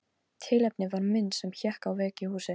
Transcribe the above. Tilefnið var mynd sem hékk á vegg í húsi.